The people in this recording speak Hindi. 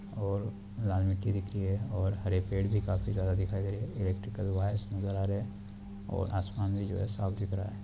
और लाल मिट्टी दिख री है और हरे पेड़ भी काफी ज्यादा दिखाई दे रहे हैं इलेक्ट्रिकल वायरस नजर आ रहे हैं और आसमान भी जो है साफ दिख रहा है।